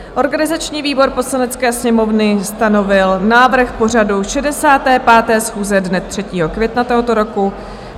Organizační výbor Poslanecké sněmovny stanovil návrh pořadu 65. schůze dne 3. května tohoto roku.